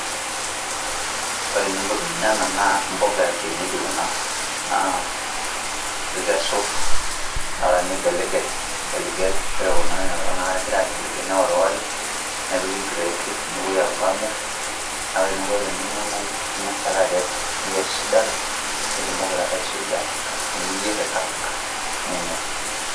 Ore pee inya ena naa mboga ya kienyeji kuna naa ikesu taata nigeligel ore kuna eh egirae ageligel neoriori nepiki crate nepuoi apuo aamir na ore eniko te ninya naa ngas ake akes nikes aitayu sidan nitumoki taata aisuja nepuoi aikaraga nenyae.